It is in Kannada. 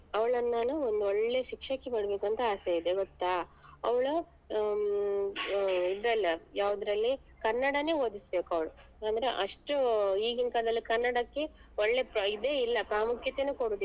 ಅವಳನ್ನ್ ನಾನು ಒಂದ್ ಒಳ್ಳೆ ಶಿಕ್ಷಕಿ ಮಾಡ್ಬೇಕು ಅಂತ ಆಸೆ ಇದೆ ಗೊತ್ತಾ ಅವ್ಳು ಹ್ಮ್ ಇದ್ರಲ್ಲಿ ಯಾವ್ದ್ರಲ್ಲಿ ಕನ್ನಡನೇ ಓದಿಸ್ಬೇಕು ಅವ್ಳು ಅಂದ್ರೆ ಅಷ್ಟು ಈಗಿನ್ ಕಾಲದಲ್ಲಿ ಕನ್ನಡಕ್ಕೆ ಒಳ್ಳೆ ಪ್ರಾ~ ಇದೆ ಇಲ್ಲ ಪ್ರಾಮುಖ್ಯತನೇ ಕೊಡುದಿಲ್ಲ.